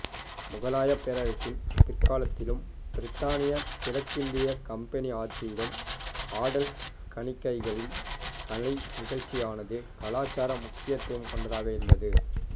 முகலாயப் பேரரசின் பிற்காலத்திலும் பிரித்தானிய கிழக்கிந்திய கம்பெனி ஆட்சியிலும் ஆடல் கணிகைகளின் கலை நிகழ்ச்சிகளானது கலாச்சார முக்கியத்துவம் கொண்டதாக இருந்தது